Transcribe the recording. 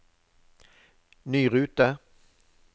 ny rute